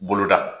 Boloda